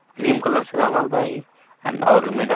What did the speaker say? cream colour से रंग्लवा ई ओर